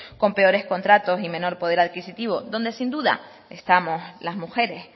con peores contratos y menor poder adquisitivo donde sin duda estamos las mujeres